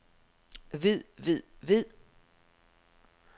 ved ved ved